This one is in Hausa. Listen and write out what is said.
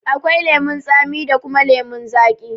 Akwai lemun tsami da kuma lemun zaƙi.